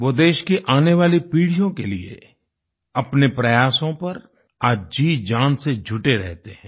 वो देश की आने वाली पीढ़ियों के लिए अपने प्रयासों पर आज जीजान से जुटे रहते हैं